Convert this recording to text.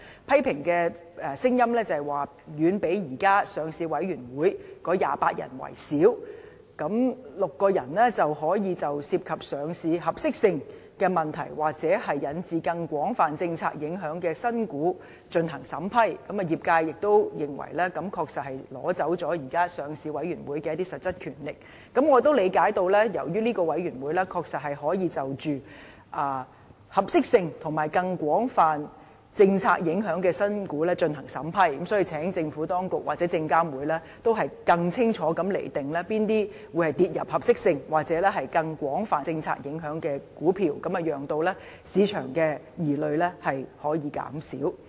批評聲音指出它的成員遠較現時上市委員會的28人少，單6個人就可以就涉及上市合適性的問題，或引致更廣泛政策影響的新股進行審批，業界認為它確實是奪走了現時上市委員會的一些實質權力，我亦理解由於這個委員會確實可以就着合適性及更廣泛政策影響的新股進行審批，所以請政府當局或證監會應更清楚地釐定哪些股票會列入合適性或更廣泛政策影響，使市場的疑慮可以減少。